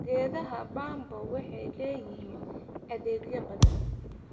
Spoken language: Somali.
Geedaha bambo waxay leeyihiin adeegyo badan.